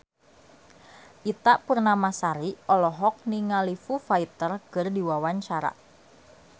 Ita Purnamasari olohok ningali Foo Fighter keur diwawancara